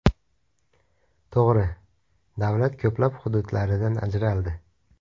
To‘g‘ri, davlat ko‘plab hududlaridan ajraldi.